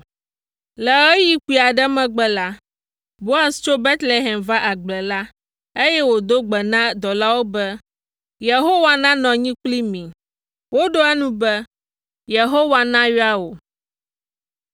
Le ɣeyiɣi kpui aɖe megbe la, Boaz tso Betlehem va agble la, eye wòdo gbe na dɔwɔlawo be, “Yehowa nanɔ anyi kpli mi!” Woɖo eŋu be, “Yehowa nayra wò!”